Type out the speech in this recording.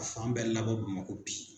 Ka fan bɛɛ labɔ Bamako bin.